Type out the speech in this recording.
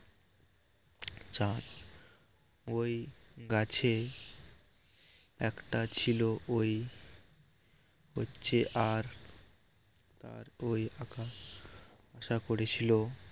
যা ওই গাছে একটা ছিল ওই যে আর আর কই আশা করেছিল